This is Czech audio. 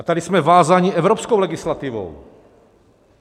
A tady jsme vázáni evropskou legislativou.